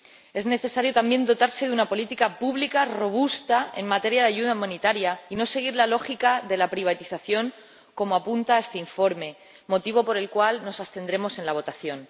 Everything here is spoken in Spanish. Es necesario, también, dotarse de una política pública robusta en materia de ayuda humanitaria, y no seguir la lógica de la privatización como apunta este informe, motivo por el cual nos abstendremos en la votación.